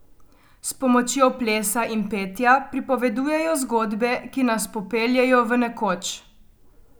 S pomočjo plesa in petja pripovedujejo zgodbe, ki nas popeljejo v nekoč.